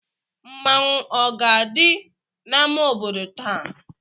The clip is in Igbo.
Mmanwu a ga-adi na ama obodo táá